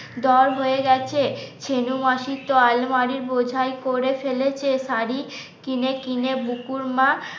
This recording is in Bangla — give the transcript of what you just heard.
দর হয়ে গেছে সেনু মাসির তো আলমারি বোঝাই করে ফেলেছে শাড়ি কিনে কিনে বুকুর মা